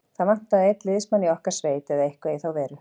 Það vantaði einn liðsmann í okkar sveit eða eitthvað í þá veru.